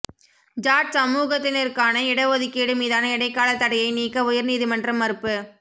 ஜாட் சமூகத்தினருக்கான இட ஒதுக்கீடு மீதான இடைக்கால தடையை நீக்க உயர் நீதிமன்றம் மறுப்பு